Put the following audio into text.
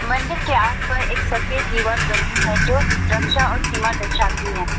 मंदिर के आस पर एक सर्फेस दिवार बनी है जो रक्षा और सीमा दर्शाती है।